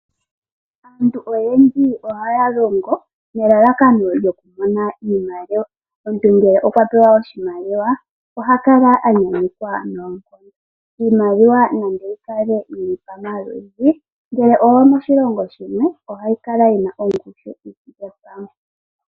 Aantu oyendji ohaya longo nelalakano lyoku mona iimaliwa. Omuntu ngele okwa pewa oshimaliwa, oha kala a nyanyukwa noonkondo. Iimaliwa nande yi kale yili pamaludhi, ngele oyomoshilongo shimwe, ohayi kala yi na ongushu yi thike pamwe.